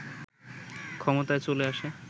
ক্ষমতায় চলে আসে